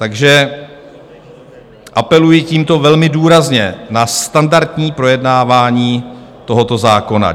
Takže apeluji tímto velmi důrazně na standardní projednávání tohoto zákona.